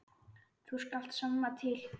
Þú skalt sanna til.